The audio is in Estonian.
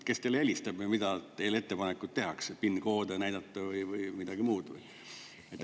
Kes teile helistab või mis ettepanekuid teile tehakse, PIN-koode näidata või midagi muud?